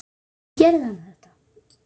Af hverju gerði hann þetta?